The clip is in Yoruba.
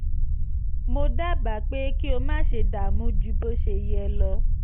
mo dábàá pé kí o má ṣe dààmú ju bó ṣe yẹ lọ